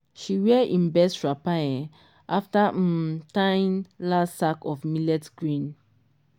she wear im best wrapper um after um tying last sack of millet grain.